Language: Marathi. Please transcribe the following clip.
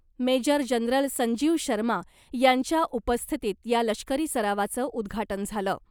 मेजर जनरल संजीव शर्मा यांच्या उपस्थितीत या लष्करी सरावाचं उद्घाटन झालं .